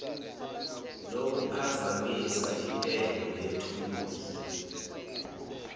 lokuphazamisa intengo yethuluzi